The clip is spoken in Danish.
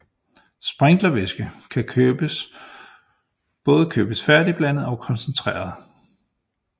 Sprinklervæske kan både købes færdigblandet og koncentreret